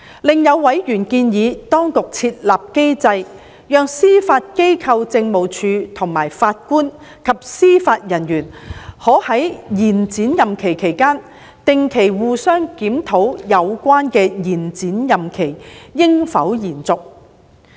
另有委員建議當局設立機制，讓司法機構政務處和法官及司法人員可在延展任期期間，定期互相檢討有關的延展任期應否延續。